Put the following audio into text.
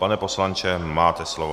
Pane poslanče, máte slovo.